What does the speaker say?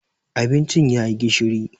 Abincin ya yi gishiri.